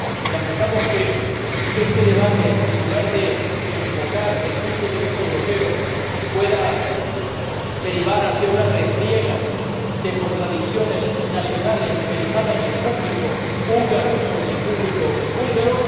Lamentamos que este debate, en lugar de enfocar el punto de vista europeo, pueda derivar hacia una refriega de contradicciones nacionales, pensando en el público húngaro o en el público búlgaro.